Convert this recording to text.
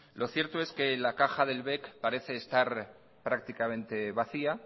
lo cierto es que la caja del bec parece estar prácticamente vacía